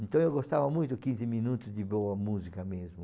Então eu gostava muito de quinze minutos de boa música mesmo.